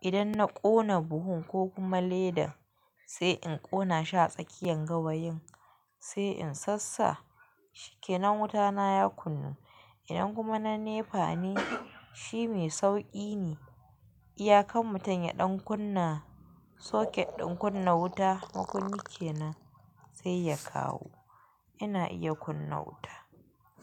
Idan na ƙona buhun ko kuma ledan sai in ƙona shi a tsakiyan gawayin sai in sassa shikenan wutan na ya kunnu. Idan kuma na nefa ne shi mai sauki ne. Iyakan mutum ya ɗan kunna soket ɗin kunna wuta makunni kenan sai ya kawo. Ina iya kunna wuta.